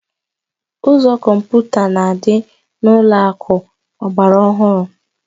Ụzọ kọmputa na-adị n'ụlọakụ ọgbara ọhụrụ